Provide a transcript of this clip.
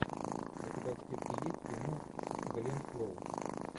у тебя в списке есть кино с глен клоуз